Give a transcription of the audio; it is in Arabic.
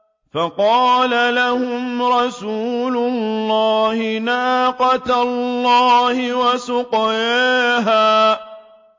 فَقَالَ لَهُمْ رَسُولُ اللَّهِ نَاقَةَ اللَّهِ وَسُقْيَاهَا